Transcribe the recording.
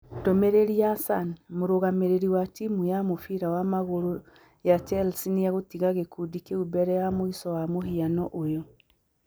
(Ndũmĩrĩri ya Sun) Mũrũgamĩrĩri wa timu ya mũbira wa magũrũ ya Chelsea nĩ egũtiga gĩkundi kĩu mbere ya mũico wa mũhiano ũyũ.